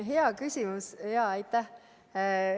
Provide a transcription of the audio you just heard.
Hea küsimus, aitäh!